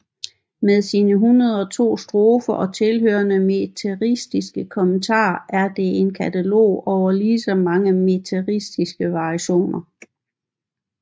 Med sine 102 strofer og tilhørende metriske kommentar er det en katalog over lige så mange metriske variationer